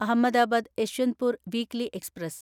Ahmedabad Yeshwantpur weekly express